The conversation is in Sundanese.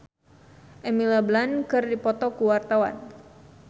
Benny Likumahua jeung Emily Blunt keur dipoto ku wartawan